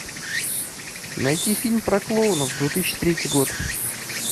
найти фильм про клоунов две тысячи третий год